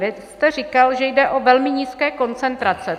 Vy jste říkal, že jde o velmi nízké koncentrace.